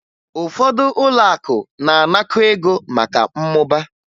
Ụfọdụ ụlọakụ na-anakọ ego maka mmụba